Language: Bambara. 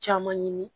Caman ɲini